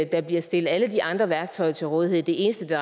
der bliver stillet alle de andre værktøjer til rådighed det eneste det